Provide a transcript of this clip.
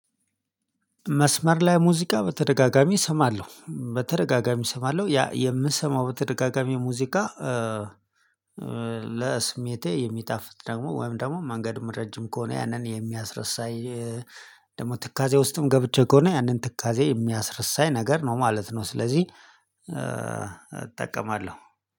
መስመር ላይ ሙዚቃ በተደጋጋሚ እሰማለሁ በተደጋጋሚ እሰማለሁ ያ የምሰማው በተደጋጋሚ ሙዚቃ። ለስሜቴ የሚጣፍጥ ደግሞ ወይም ደግሞ መንገዱም ረጅም ከሆነ ያንን የሚያስረሳኝ ደግሞ ትካዜ ውስጥም ገብቼ ከሆነ ያንን ትካዜ የሚያስረሳኝ ነገር ነው ማለት ነው። ስለዚህ እጠቀማለሁ